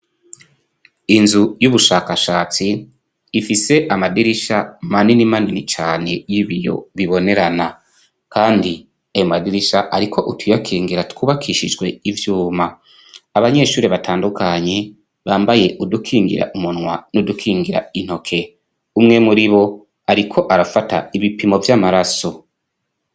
inzu y'ubushakashatsi ifise amadirisha manini manini cyane y'ibiyo bibonerana kandi ayo madirisha ariko utuyakingira twubakishijwe ibyuma abanyeshuri batandukanye bambaye udukingira umunwa n udukingira intoke umwe muri bo ariko arafata ibipimo vy'amaraso.